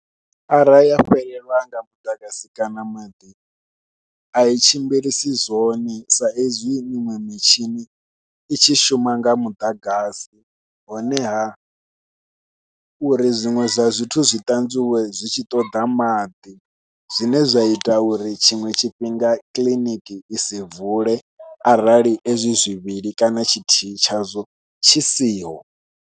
Arali ya fhelelwa nga muḓagasi kana maḓi ai tshimbilisi zwone sa ezwi miṅwe mitshini i tshi shuma nga muḓagasi, honeha uri zwiṅwe zwa zwithu zwi ṱanzwiwe zwi tshi ṱoḓa maḓi zwine zwa ita uri tshiṅwe tshifhinga kiḽiniki i si vule arali ezwi zwivhili kana tshithihi tshazwo tshi siho.